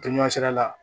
Tɛ ɲɛ sera